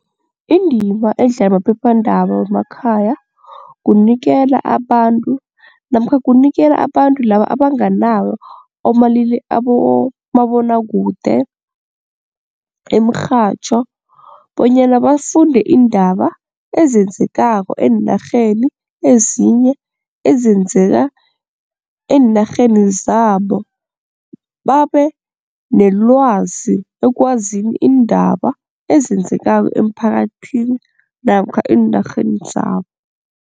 Indima edlalwa maphephandaba wemakhaya kunikela abantu namkha kunikela abantu laba abanganawo abomabonwakude, imirhatjho bonyana bafunde iindaba ezenzekako eenarheni ezinye ezenzeka eenarheni zabo babe nelwazi ekwazini iindaba ezenzekako emphakathini namkha eenarheni zabo.